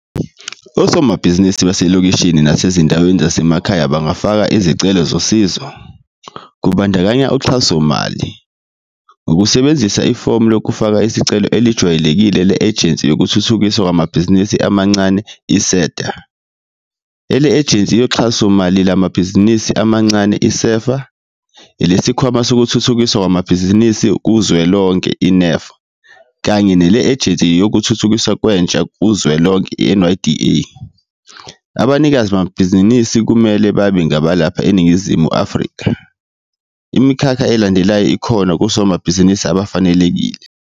Osomabhizinisi basemalokishini nasezindaweni zasemakhaya bangafaka izicelo zosizo, kubandakanya uxhasomali, ngokusebenzisa ifomu lokufaka isicelo elejwayelekile le-Ejensi Yokuthuthukiswa Kwamabhizinisi Amancane, i-SEDA, ele-Ejensi Yoxhasomali Lwamabhizinisi Amancane, i-SEFA, eleSikhwama Sokuthuthukiswa Kwamabhizinisi Kuzwelonke, i-NEF, kanye nele-Ejensi Yokuthuthukiswa Kwentsha Kuzwelonke, i-NYDA. Abanikazi bamabhizinisi kumele babe ngabalapha eNingizimu Afrika. Imikhakha elandelayo ikhona kosomabhizinisi abafanelekile.